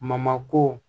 ko